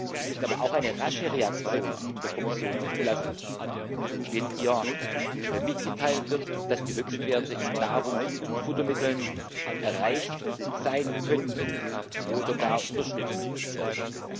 Sie müssen aber auch eine rasche Reaktion der Kommission zulassen, wenn ihr mitgeteilt wird, dass die Höchstwerte in Nahrungs und Futtermitteln erreicht sein könnten oder gar überschritten werden.